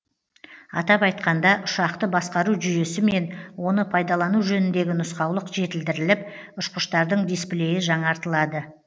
атап айтқанда ұшақты басқару жүйесі мен оны пайдалану жөніндегі нұсқаулық жетілдіріліп ұшқыштардың дисплейі жаңартылады